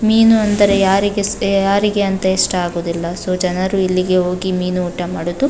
ಮೀನು ಅಂದರೆ ಯಾರಿಗೆ ಹ ಯಾರಿಗೆ ಅಂತ ಇಷ್ಟ ಆಗುವುದಿಲ್ಲ ಸೊ ಜನರು ಇಲ್ಲಿಗೆ ಹೋಗಿ ಮೀನು ಊಟ ಮಾಡೋದು.